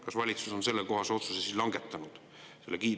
Kas valitsus on sellekohase otsuse siis langetanud?